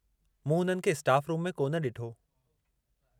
मूं हुननि खे स्टाफ़ रूम में कोन डि॒ठो।